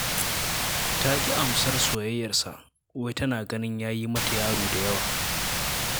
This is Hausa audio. Ta ƙi amsar soyayyarsa saboda wai tana ganin ya yi mata yaro da yawa